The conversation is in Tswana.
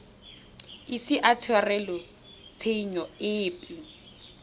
ise a tshwarelwe tshenyo epe